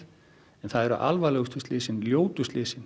en það eru alvarlegustu slysin ljótu slysin